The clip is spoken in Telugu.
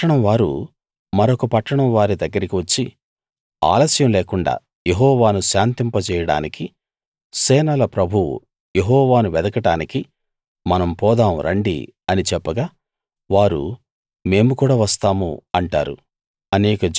ఒక పట్టణంవారు మరొక పట్టణం వారి దగ్గరికి వచ్చి ఆలస్యం లేకుండా యెహొవాను శాంతింప జేయడానికి సేనల ప్రభువు యెహోవాను వెదకడానికి మనం పోదాం రండి అని చెప్పగా వారు మేము కూడా వస్తాము అంటారు